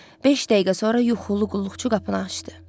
Beş dəqiqə sonra yuxulu qulluqçu qapını açdı.